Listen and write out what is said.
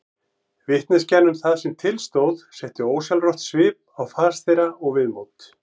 Vitneskjan um það sem til stóð setti ósjálfrátt svip á fas þeirra og viðmót.